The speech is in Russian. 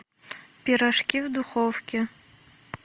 пирожки в духовке